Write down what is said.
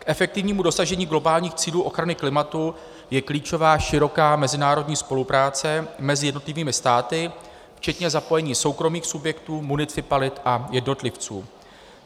K efektivnímu dosažení globálních cílů ochrany klimatu je klíčová široká mezinárodní spolupráce mezi jednotlivými státy včetně zapojení soukromých subjektů, municipalit a jednotlivců.